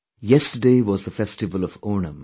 Yesterday was the festival of Onam